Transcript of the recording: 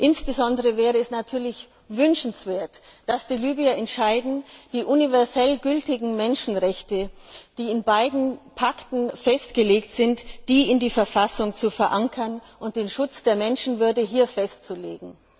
Insbesondere wäre es natürlich wünschenswert, dass die Libyer entscheiden, die universell gültigen Menschenrechte, die in beiden Pakten festgelegt sind, in der Verfassung zu verankern und den Schutz der Menschenwürde festzulegen.